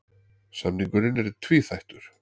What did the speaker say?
Samningurinn er tvíþættur